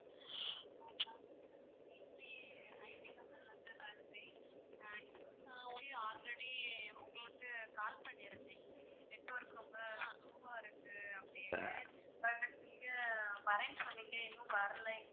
நான் வந்து IT company ல இருந்து பேசுறேன் already உங்களுக்கு call பண்ணியிருந்தேன் network ரொம்ப low வா இருக்கு அப்படின்னு but நீங்க வர்றேன்னு சொன்னீங்க இன்னும் வரலை